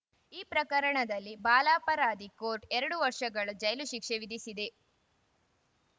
ಈ ಪ್ರಕರಣದಲ್ಲಿ ಬಾಲಾಪರಾಧಿ ಕೋರ್ಟ್‌ ಎರಡು ವರ್ಷಗಳ ಜೈಲು ಶಿಕ್ಷೆ ವಿಧಿಸಿದೆ